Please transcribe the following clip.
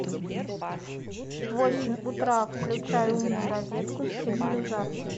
в восемь утра включай умную розетку с сигнализацией